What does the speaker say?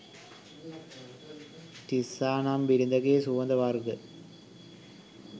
තිස්සා නම් බිරිඳගේ සුවඳ වර්ග,